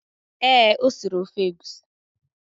Ee, o siri ofe egusi